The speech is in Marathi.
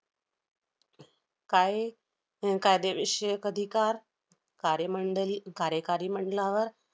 काय~ अं कायदेविषयक अधिकार कार्यमंडली~ कार्यकारी मंडलावर